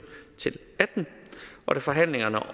til og atten og da forhandlingerne om